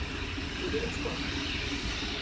Við viljum skoða hann